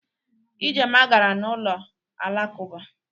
Ijeoma gara n'ụlọ alakụba.